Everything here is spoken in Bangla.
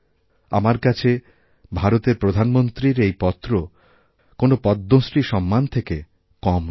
আমার কাছে ভারতের প্রধানমন্ত্রীর এই পত্র কোনোপদ্মশ্রী সম্মান থেকে কম নয়